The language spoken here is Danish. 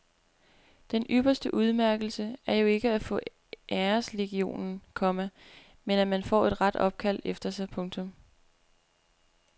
Den ypperste udmærkelse er jo ikke at få æreslegionen, komma men at man får en ret opkaldt efter sig. punktum